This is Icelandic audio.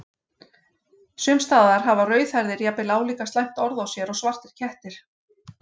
Sums staðar hafa rauðhærðir jafnvel álíka slæmt orð á sér og svartir kettir.